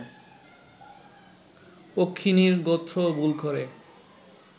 পক্ষিণীর গোত্র ভুল করে